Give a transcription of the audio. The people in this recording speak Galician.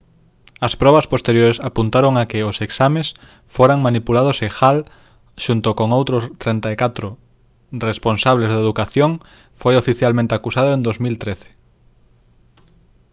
as probas posteriores apuntaron a que os exames foran manipulados e hall xunto con outros 34 responsables de educación foi oficialmente acusado en 2013